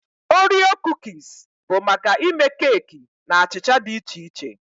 Oreo Kuukis bụ maka ịme keeki na achịcha dị iche iche